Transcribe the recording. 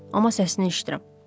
Amma səsini eşidirəm.